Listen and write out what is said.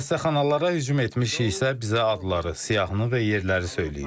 Xəstəxanalara hücum etmişiksə, bizə adları, siyahını və yerləri söyləyin.